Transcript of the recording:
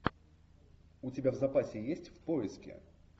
у тебя в запасе есть в поиске